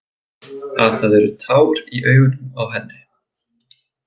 Að það eru tár í augunum á henni.